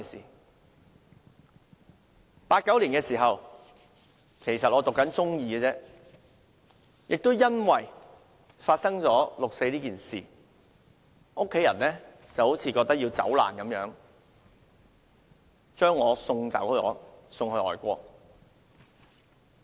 在1989年，當時我只是唸中二，由於發生六四事件，家人好像要走難般把我送到外國。